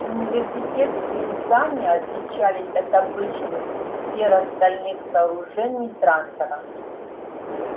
университетские здания отличались от обычных серо-стальных сооружений трантора